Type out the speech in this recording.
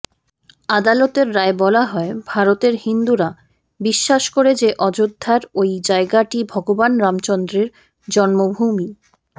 আদালতের রায়ে বলা হয় ভারতের হিন্দুরা বিশ্বাস করে যে অযোধ্যার ওই জায়গাটি ভগবান রামচন্দ্রের জ্ন্মভূমি